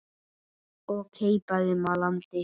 og keipaði upp að landi.